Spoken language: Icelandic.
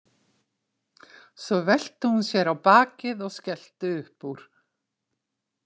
Svo velti hún sér á bakið og skellti upp úr.